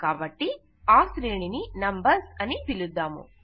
కాబట్టి ఆ శ్రేణి ని నంబర్స్ అని పిలుద్దాము